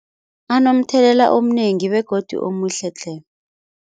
Anomthelela omnengi begodu omuhle tle.